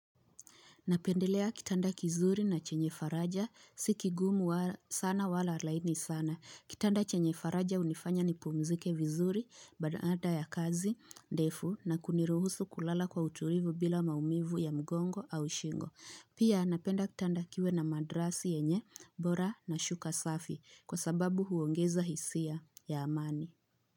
Napendelea kitanda kizuri na chenye faraja, si kigumu sana wala laini sana. Kitanda chenye faraja hunifanya nipumzike vizuri, baada ya kazi, defu na kuniruhusu kulala kwa utulivu bila maumivu ya mgongo au shingo. Pia napenda kitanda kiwe na madrasi yenye, bora na shuka safi kwa sababu huongeza hisia ya amani.